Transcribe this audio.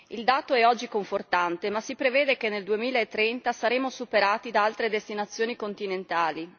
Il dato è oggi confortante, ma si prevede che nel 2030 saremo superati da altre destinazioni continentali.